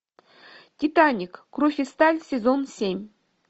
титаник кровь и сталь сезон семь